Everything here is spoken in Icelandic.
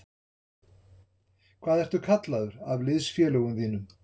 Hvað ertu kallaður af liðsfélögum þínum?